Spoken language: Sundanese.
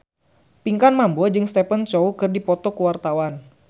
Pinkan Mambo jeung Stephen Chow keur dipoto ku wartawan